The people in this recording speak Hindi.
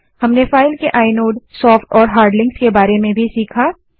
हमने फाइल के आइनोड सोफ्ट और हार्ड लिंक्स के बारे में भी सीखा